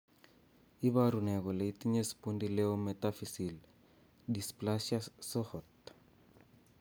Iporu ne kole itinye Spondyloepimetaphyseal dysplasia Shohat?